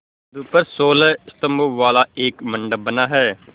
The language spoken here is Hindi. बिंदु पर सोलह स्तंभों वाला एक मंडप बना है